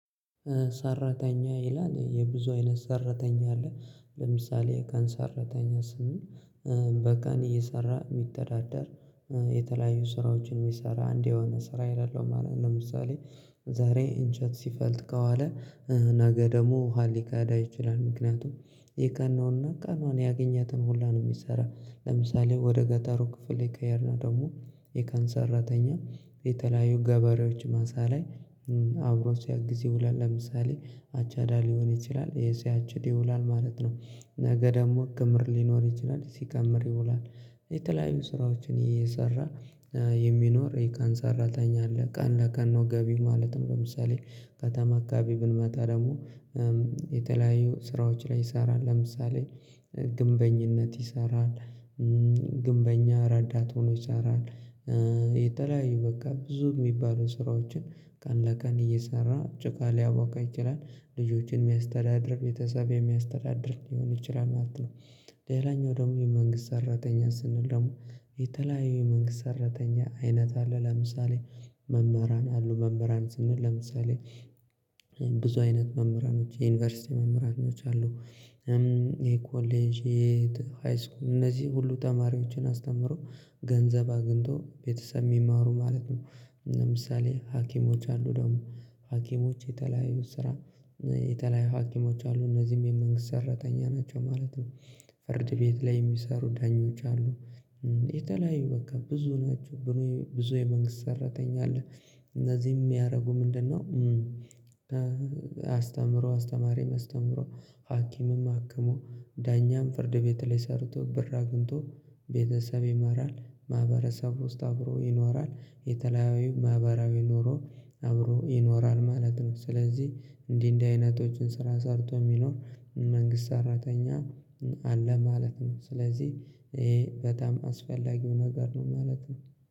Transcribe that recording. ሰራተኛ ይላል የብዙ አይነት ሰራተኛ አለ ለምሳሌ የቀን ሰራተኛ ስንል በቀን እየሰራ የሚተዳደር የተለያዩ ስራዎችን የሚሰራ እንዲህ የሆነ ስራ የሌለው ማለት ነው። ለምሳሌ ዛሬ ኢንቸት ሲፈልጥ ከዋለ ነገ ደግሞ ውሃ ሊቀዳ ይችላል ምክንያቱም የቀን ነውና ቀኗን ያገኘትን ሁላ ነው የሚሰራ። ለምሳሌ ወደ ገጠሩ ክፍል ከሄድን ደግሞ የቀን ሰራተኛ የተለያዩ ገበሬዎች ማሳ ላይ አብሮ ሲያግዝ ይውላል ለምሳሌ አቻዳ ሊሆን ይችላል ሲያችድ ይውላል ማለት ነው። ነገ ደግሞ ክምር ሊኖር ይችላል ሲከምር ይውላል። የተለያዩ ስራዎችን እየሰራ የሚኖር የቀን ሰራተኛ አለ ቀን ለቀን ነው ገቢው ማለት ነው። ለምሳሌ ከተማ አካባቢ ብንመጣ ደግሞ የተለያየ ስራዎች ላይ ይሰራል ለምሳሌ ግንበኝነት ይሰራል። ግንበኛ ረዳት ሆኖ ይሰራል። የተለያዩ በቃ ብዙ የሚባሉ ስራዎችን ቀን ለቀን እየሰራ ጭቃ ሊያቦካ ይችላል ልጆችን የሚያስተዳድር ቤተሰብ የሚያስተዳድር ሊሆን ይችላል ማለት ነው። ሌላኛው ደግሞ የመንግስት ሰራተኛ ስንል ደግሞ የተለያዩ የመንግስት ሰራተኛ አይነት አለ ለምሳሌ መምህራን አሉ መምህራን ስንል ለምሳሌ ብዙ አይነት መምህራኖች የዩኒቨርሲቲ መምህራኖች አሉ። ይሄ ኮሌጅ የሃይስኩል እነዚህ ሁሉ ተማሪዎችን አስተምሮ ገንዘብ አግኝቶ ቤተሰብ የሚማሩ ማለት ነው። ለምሳሌ ሀኪሞች አሉ ደግሞ ሀኪሞች የተለያዩ ስራ የተለያዩ ሀኪሞች አሉ እነዚህም የመንግስት ሰራተኛ ናቸው ማለት ነው። ፍርድ ቤት ላይ የሚሰሩ ዳኞች አሉ። የተለያዩ በቃ ብዙ ናቸው። ብዙ የመንግስት ሰራተኛ አለ። እነዚህም የሚያደርጉ ምንድነው? አስተምሮ አስተማሪም አስተምሮ ሀኪምም አክሞ ዳኛም ፍርድ ቤት ላይ ሰርቶ ብር አግኝቶ ቤተሰብ ይመራል። ማህበረሰብ ውስጥ አብሮ ይኖራል የተለያዩ ማህበራዊ ኖሮ አብሮ ይኖራል ማለት ነው። ስለዚህ እንዲህ እንዲህ አይነቶችን ስራ ሰርቶ የሚኖር መንግስት ሰራተኛ አለ ማለት ነው። ስለዚህ ይሄ በጣም አስፈላጊው ነገር ነው ማለት ነው።